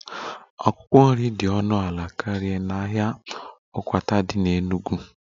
Akwụkwọ nri dị ọnụ ala karịa n'ahịa akwata dị n'Enugwu